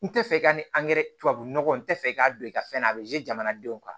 N tɛ fɛ i ka ni tubabu nɔgɔ n tɛ fɛ i k'a don i ka fɛn na a bɛ jamanadenw kan